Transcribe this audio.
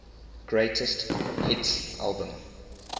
greatest hits album